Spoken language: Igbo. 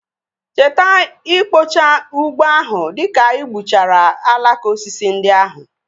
Cheta ikpochaa ugbo ahụ dịka gbuchara alaka osisi ndị ahụ